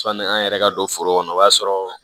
Sɔni an yɛrɛ ka don foro kɔnɔ o b'a sɔrɔ